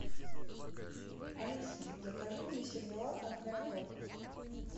алиса закажи мне сервелат от мираторг